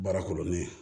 Baara kolonne ye